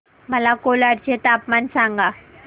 मला कोलाड चे तापमान सांगा